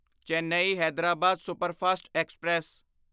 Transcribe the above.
Chennai Hyderabad superfast express